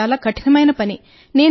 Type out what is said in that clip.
ఇది మాకు చాలా కఠినమైన పని